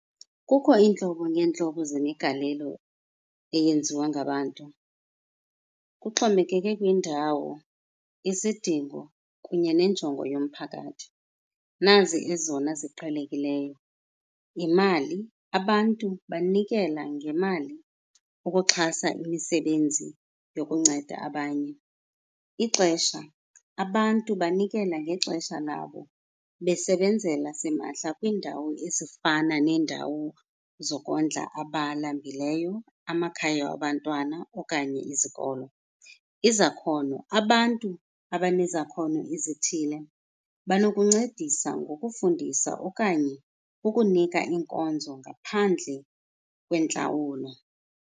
Kukho iintlobo ngeentlobo zemigalelo eyenziwa ngabantu, kuxhomekeke kwindawo, isidingo, kunye nenjongo yomphakathi. Nazi ezona ziqhelekileyo. Yimali, abantu banikela ngemali ukuxhasa imisebenzi yokunceda abanye. Ixesha, abantu banikela ngexesha labo besebenzela simahla kwiindawo ezifana neendawo zokondla abalambileyo, amakhaya abantwana okanye izikolo. Izakhono, abantu abanezakhono ezithile banokuncendisa ngokufundisa okanye ukunika iinkonzo ngaphandle kwentlawulo.